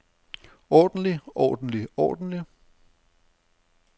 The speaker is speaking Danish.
ordentlig ordentlig ordentlig